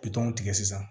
tigɛ sisan